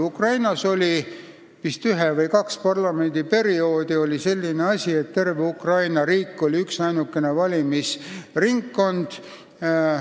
Ukrainas oli vist ühe või kahe parlamendiperioodi ajal selline asi, et terve Ukraina riik oli üksainukene valimisringkond.